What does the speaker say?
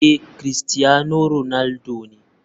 Ee, cristiano ronaldo ne.